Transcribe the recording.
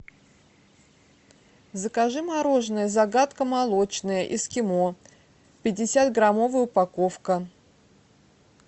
закажи мороженое загадка молочная эскимо пятидесятграммовая упаковка